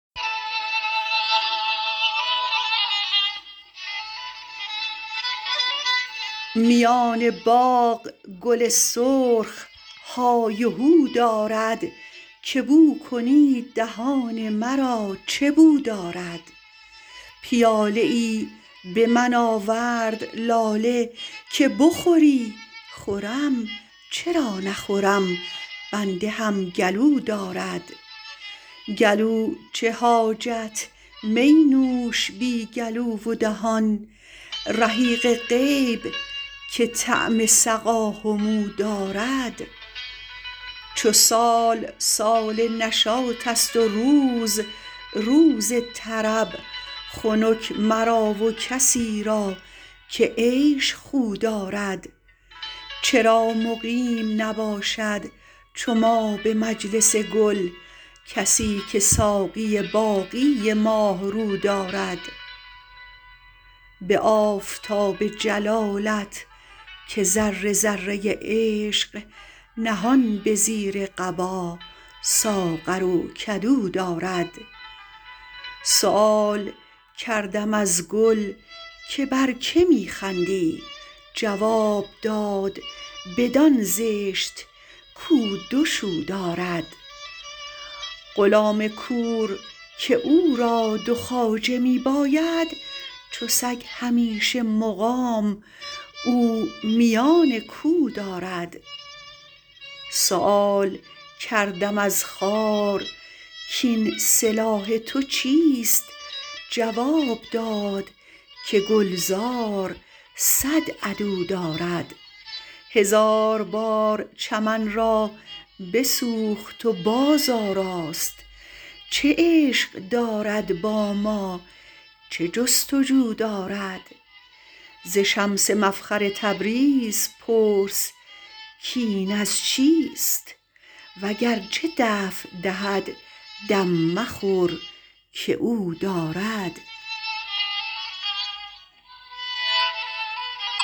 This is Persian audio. میان باغ گل سرخ های و هو دارد که بو کنید دهان مرا چه بو دارد پیاله ای به من آورد لاله که بخوری خورم چرا نخورم بنده هم گلو دارد گلو چه حاجت می نوش بی گلو و دهان رحیق غیب که طعم سقا همو دارد چو سال سال نشاطست و روز روز طرب خنک مرا و کسی را که عیش خو دارد چرا مقیم نباشد چو ما به مجلس گل کسی که ساقی باقی ماه رو دارد به آفتاب جلالت که ذره ذره عشق نهان به زیر قبا ساغر و کدو دارد سؤال کردم از گل که بر که می خندی جواب داد بدان زشت کو دو شو دارد غلام کور که او را دو خواجه می باید چو سگ همیشه مقام او میان کو دارد سؤال کردم از خار کاین سلاح تو چیست جواب داد که گلزار صد عدو دارد هزار بار چمن را بسوخت و بازآراست چه عشق دارد با ما چه جست و جو دارد ز شمس مفخر تبریز پرس کاین از چیست وگرچه دفع دهد دم مخور که او دارد